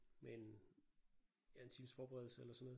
Med en ja en times forberedelse eller sådan noget